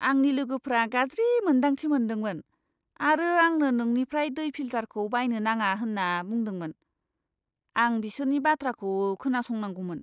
आंनि लोगोफोरा गाज्रि मोन्दांथि मोनदोंमोन आरो आंनो नोंनिफ्राय दै फिल्टारखौ बायनो नाङा होन्ना बुंदोंमोन। आं बिसोरनि बाथ्राखौ खोनासंनांगौमोन।